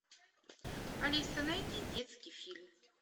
алиса найди детский фильм